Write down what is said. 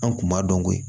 An kun b'a dɔn ko